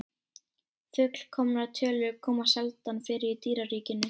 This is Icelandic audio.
Fullkomnar tölur koma sjaldan fyrir í dýraríkinu.